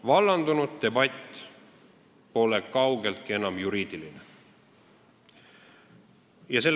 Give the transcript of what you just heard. Vallandunud debatt pole kaugeltki enam juriidiline.